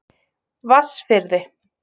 Vatnsfirði